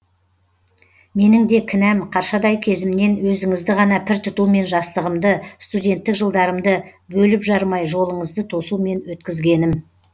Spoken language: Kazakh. менің де кінәм қаршадай кезімнен өзіңізді ғана пір тұтумен жастығымды студенттік жылдарымды бөліп жармай жолыңызды тосумен өткізгенім